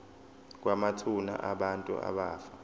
kwamathuna abantu abafa